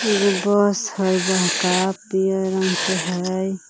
एगो बस हइ बड़का पियर रंग के हइ।